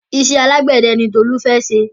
Iṣẹ́ alágbẹ̀dẹ ni Tolu fẹ́ ṣe.